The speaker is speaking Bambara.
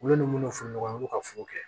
Ulu ni minnu funu u bi ka foro kɛ